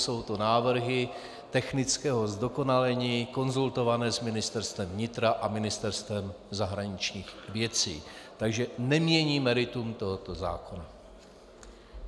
Jsou to návrhy technického zdokonalení, konzultované s Ministerstvem vnitra a Ministerstvem zahraničních věcí, takže nemění meritum tohoto zákona.